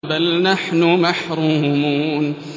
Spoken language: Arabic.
بَلْ نَحْنُ مَحْرُومُونَ